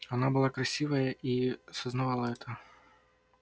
она была красивая и сознавала это